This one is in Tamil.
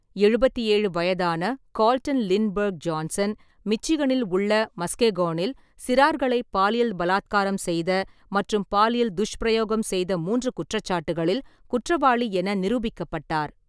எழுபத்தி ஏழு வயதான கார்ல்டன் லிண்ட்பெர்க் ஜான்சன், மிச்சிகனில் உள்ள மஸ்கெகோனில் சிறார்களை பாலியல் பலாத்காரம் செய்த மற்றும் பாலியல் துஷ்பிரயோகம் செய்த மூன்று குற்றச்சாட்டுகளில் குற்றவாளி என நிரூபிக்கப்பட்டார்.